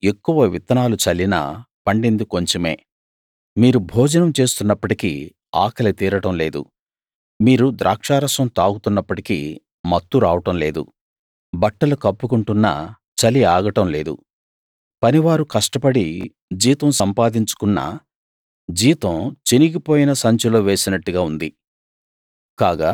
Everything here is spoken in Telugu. మీరు ఎక్కువ విత్తనాలు చల్లినా పండింది కొంచెమే మీరు భోజనం చేస్తున్నప్పటికీ ఆకలి తీరడం లేదు మీరు ద్రాక్షరసం తాగుతున్నప్పటికీ మత్తు రావడం లేదు బట్టలు కప్పుకుంటున్నా చలి ఆగడం లేదు పనివారు కష్టపడి జీతం సంపాదించుకున్నా జీతం చినిగిపోయిన సంచిలో వేసినట్టుగా ఉంది